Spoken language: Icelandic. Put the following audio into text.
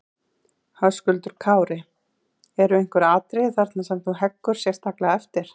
Höskuldur Kári: Eru einhver atriði þarna sem þú heggur sérstaklega eftir?